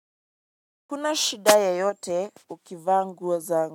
Hakuna shida yoyote ukivaa nguo zangu.